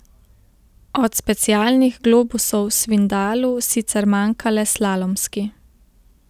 Od specialnih globusov Svindalu sicer manjka le slalomski.